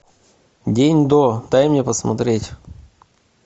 день до дай мне посмотреть